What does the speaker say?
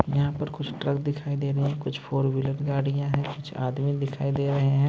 यहां पर कुछ ट्रक दिखाई दे रहे हैं कुछ फोर व्हीलर गाड़ियां हैं कुछ आदमी दिखा रहे हैं।